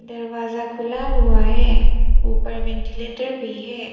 दरवाजा खुला हुआ है ऊपर वेंटीलेटर भी है।